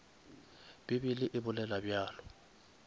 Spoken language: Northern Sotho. bible e bolela bjalo